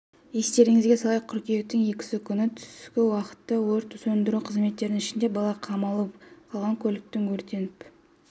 естеріңізге салайық қыркүйектің екісі күні түскі уақытта өрт сөндіру қызметіне ішінде бала қамалып қалған көліктің өртеніп